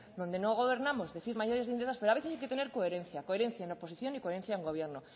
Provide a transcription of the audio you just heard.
donde no gobernamos decir mayores lindezas pero a veces hay que tener coherencia coherencia en oposición y coherencia en gobierno